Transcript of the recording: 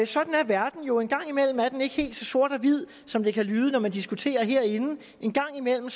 sådan er verden jo en gang imellem er den ikke helt så sort og hvid som det kan lyde når man diskuterer herinde en gang imellem